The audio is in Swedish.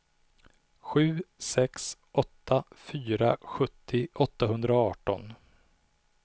sju sex åtta fyra sjuttio åttahundraarton